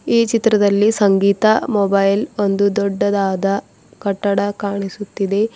ಈ ಚಿತ್ರದಲ್ಲಿ ಸಂಗೀತ ಮೊಬೈಲ್ ಒಂದು ದೊಡ್ಡದಾದ ಕಟ್ಟಡ ಕಾಣಿಸುತ್ತಿದೆ.